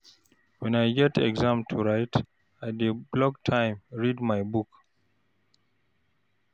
Wen I get exam to write, I dey block time read my book.